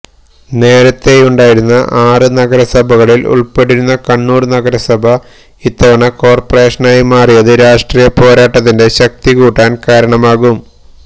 നേരത്തേയുണ്ടായിരുന്ന ആറു നഗരസഭകളില് ഉള്പ്പെട്ടിരുന്ന കണ്ണൂര് നഗരസഭ ഇത്തവണ കോര്പറേഷനായി മാറിയത് രാഷ്ട്രീയ പോരാട്ടത്തിന്റെ ശക്തി കൂട്ടാന് കാരണമാകും